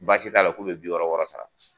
Baasi t'a la k'u bɛ bi wɔɔrɔ wɔɔrɔ sara